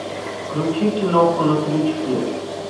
включи киноху на крючке